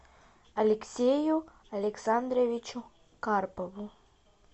алексею александровичу карпову